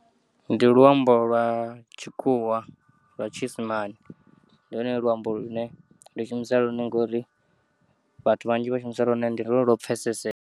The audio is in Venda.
Ndi luambo lwa tshikhuwa lwa tshiisimani, ndi lwone luambo lwune ndi shumisa lwone ngauri vhathu vhanzhi vha shumisa lwone, ndi lwone lwo pfeseseya.